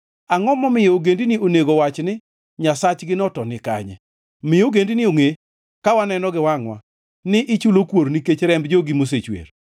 Angʼo momiyo ogendini onego owach ni, “Nyasachgino to ni kanye?” Mi ogendini ongʼe, ka waneno gi wangʼwa, ni ichulo kuor nikech remb jogi mosechwer.